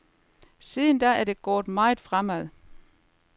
Siden da er det gået meget fremad.